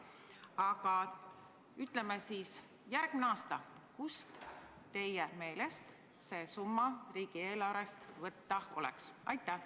Aga kust näiteks järgmisel aastal teie meelest see summa võtta oleks?